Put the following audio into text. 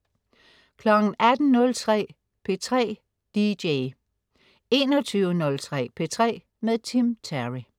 18.03 P3 DJ 21.03 P3 med Tim Terry